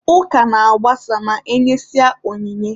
Ụka na-agbasa ma e nyesịa onyinye.